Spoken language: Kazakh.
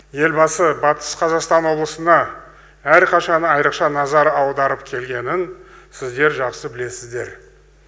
елбасы батыс қазақстан облысына әрқашан айрықша назар аударып келгенін сіздер жақсы білесіздер